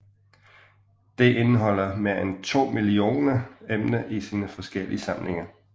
Det indeholder mere end 12 millioner emner i sine forskellige samlinger